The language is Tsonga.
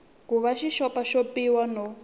ku va xi xopaxopiwile no